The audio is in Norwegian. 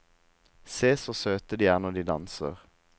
Se så søte de er når de danser!